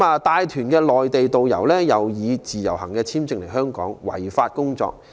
帶團的內地導遊，以自由行簽證來港違法工作。